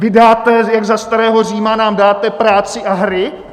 Vy dáte - jak za starého Říma nám dáte práci a hry?